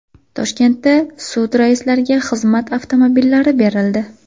Toshkentda sud raislariga xizmat avtomobillari berildi.